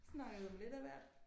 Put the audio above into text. Snakkede om lidt af hvert